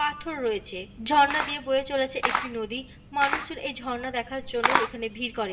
পাথর রয়েছে। ঝর্ণা দিয়া বয়ে চলেছে একটি নদী। মানুষজন এই ঝর্ণা দেখার জন্য এখানে ভিড় করে।